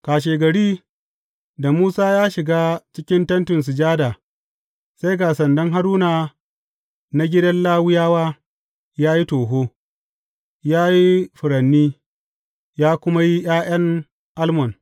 Kashegari da Musa ya shiga cikin Tentin Sujada sai ga sandan Haruna na gidan Lawiyawa ya yi toho, ya yi furanni, ya kuma yi ’ya’yan almon.